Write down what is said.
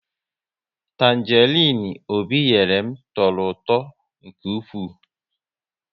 Tanjerin Obi nyere m tọrọ ụtọ nke ụkwụ